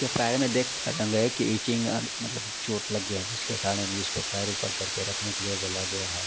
ये पैर में देख सकते है की इचिंग मतलब चोट लग गया है जिसके कारण इसको पैर ऊपर करके रखने को बोला गया है।